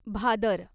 Bhadar